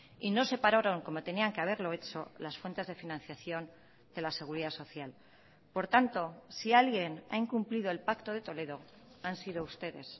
y no separaron como tenían que haberlo hecho las fuentes de financiación de la seguridad social por tanto si alguien ha incumplido el pacto de toledo han sido ustedes